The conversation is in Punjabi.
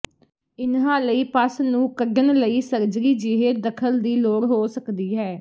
ਇਨ੍ਹਾਂ ਲਈ ਪੱਸ ਨੂੰ ਕੱਢਣ ਲਈ ਸਰਜਰੀ ਜਿਹੇ ਦਖਲ ਦੀ ਲੋੜ ਹੋ ਸਕਦੀ ਹੈ